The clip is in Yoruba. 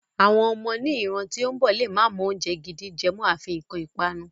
Àwọn ọmọ ni ìran tí ó ń bọ̀ lè má mọ oúnjẹ gidi jẹ mọ́, afi nǹkan ipanu.